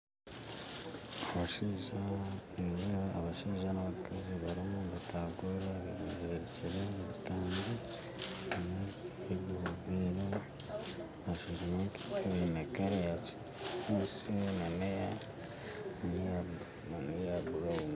Nindeeba abashaija n'abakazi barimu nibataagurira beziriikire ebitambi birimu ebirikwera biine kara yakinyaatsi n'eya burawunu